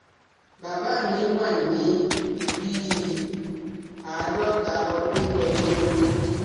Bàbá mi wà ní bí i àádọ́ta ọdún lọ́jọ́ orí